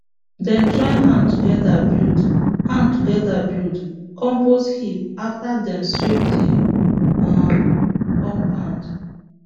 dem join hand together build hand together build compost heap after dem sweep the um compound